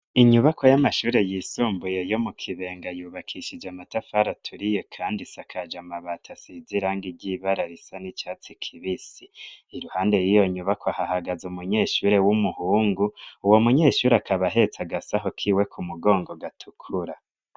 Inyubako y'amashure yisumbuye yo mu kibenga yubakishije amatafara aturi ye, kandi sakaja amabato asizirange ryibara risa n'icatsi kibisi iruhande yiyo nyubako ahahagaze umunyeshuri w'umuhungu uwo munyeshuri akabahetsa agasaho kiwe ku mugongo gatukura.